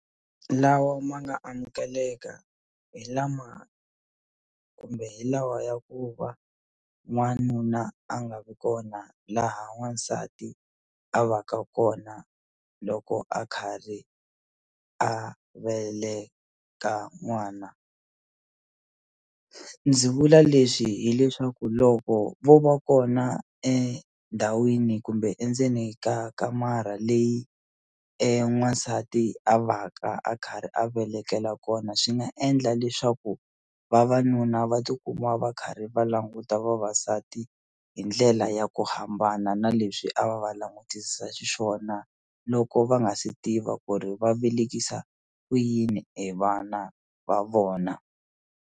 Lawa ma nga amukeleka hi lama kumbe hi lawa ya ku va n'wanuna a nga vi kona laha n'wansati a va ka kona loko a kharhi a veleka n'wana ndzi vula leswi hileswaku loko vo va kona endhawini kumbe endzeni ka kamara leyi e n'wansati a va ka a karhi a velekela kona swi nga endla leswaku vavanuna va tikuma va karhi va languta vavasati hi ndlela ya ku hambana na leswi a va va langutisisa xiswona loko va nga se tiva ku ri va velekisa kuyini e vana va vona.